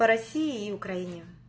в россии и украине